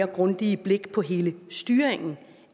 grundigere blik på hele styringen